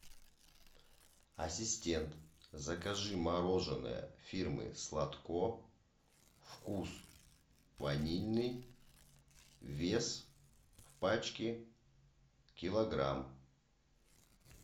ассистент закажи мороженое фирмы сладко вкус ванильный вес в пачке килограмм